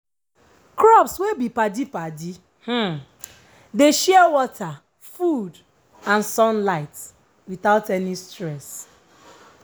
crops wey be padi padi um dey share water food and sunlight without any stress.